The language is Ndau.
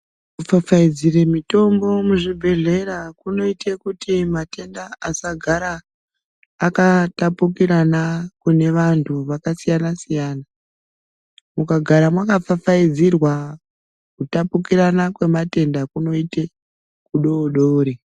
Kupfapfa idzira mitombo muzvibhedhlera kunoita kuti matenda asagara akatapukirana kune vantu vakasiyana siyana mukagara makapfapfaidzirwa Kutapukirana kwematenda kunoita kudodori.